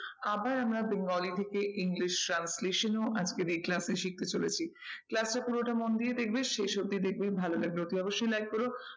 আবার আমরা bengali থেকে english translation এও আজকের এই class এ শিখতে চলেছি। class এ পুরোটা মন দিয়ে দেখবে শেষ অবধি দেখবে ভালো লাগলে অতি অবশ্যই like করো